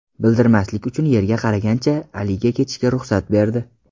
Bildirmaslik uchun yerga qaragancha Aliga ketishga ruxsat berdi.